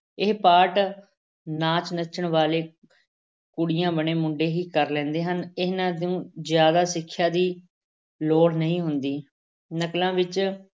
ਇਹ part ਨਾਚ ਨੱਚਣ ਵਾਲੇ ਕੁੜੀਆਂ ਬਣੇ ਮੁੰਡੇ ਹੀ ਕਰ ਲੈਂਦੇ ਹਨ, ਇਹਨਾਂ ਨੂੰ ਜ਼ਿਆਦਾ ਸਿੱਖਿਆ ਦੀ ਲੋੜ ਨਹੀਂ ਹੁੰਦੀ, ਨਕਲਾਂ ਵਿੱਚ